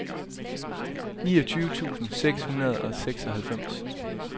niogtyve tusind seks hundrede og seksoghalvfems